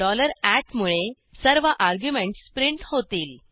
dollar at मुळे सर्व arguments print होतील